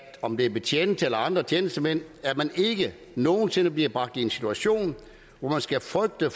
om det er betjente eller andre tjenestemænd at man ikke nogen sinde bliver bragt i en situation hvor man skal frygte